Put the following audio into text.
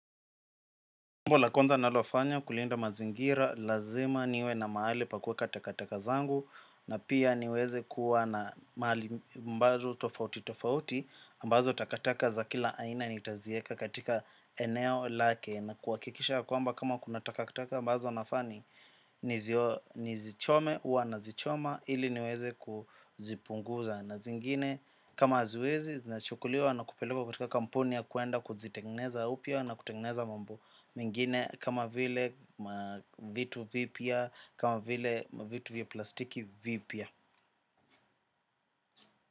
Jambo la kwanza ninalofanya kulinda mazingira lazima niwe na mahali pa kuweka takataka zangu na pia niweze kuwa na mahali ambazo tofauti tofauti ambazo takataka za kila aina nitazieka katika eneo lake na kuhakikisha ya kwamba kama kuna takataka ambazo nafaa ni nizichome huwa nazichoma ili niweze kuzipunguza na zingine kama haziwezi zinachukuliwa na kupelekwa katika kampuni ya kwenda kuzitengeneza upya na kutengeneza mambo mingine kama vile vitu vipya kama vile vitu vya plastiki vipya.